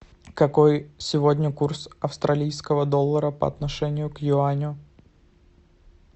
какой сегодня курс австралийского доллара по отношению к юаню